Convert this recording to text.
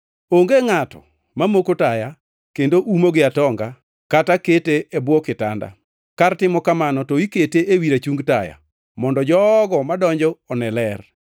“Onge ngʼato mamoko taya kendo umo gi atonga kata kete e bwo kitanda. Kar timo kamano, to okete ewi rachungi taya, mondo jogo madonjo one ler.